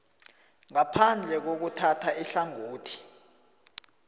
ngaphandle kokuthatha ihlangothi